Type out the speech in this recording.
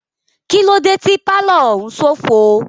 Kílódé tí pálọ̀ òún ṣófo?